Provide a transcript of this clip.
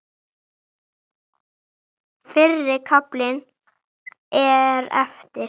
Fyrri kaflinn er eftir